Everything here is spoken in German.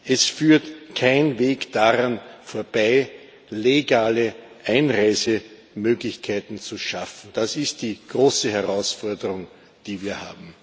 Es führt kein Weg daran vorbei, legale Einreisemöglichkeiten zu schaffen. Das ist die große Herausforderung, die wir haben.